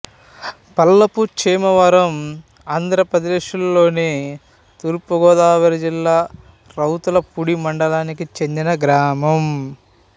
పల్లపు చేమవరం ఆంధ్రప్రదేశ్లోని తూర్పు గోదావరి జిల్లా రౌతులపూడి మండలానికి చెందిన గ్రామం